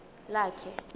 lakhe